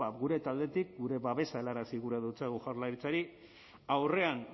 gure taldetik gure babesa helarazi gura dotsagu jaurlaritzari aurrean